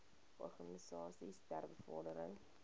organisasies ter bevordering